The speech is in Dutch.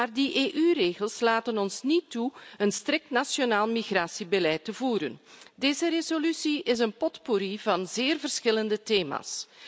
Maar die EU regels laten ons niet toe een strikt nationaal migratiebeleid te voeren. Deze resolutie is een potpourri van zeer verschillende thema's.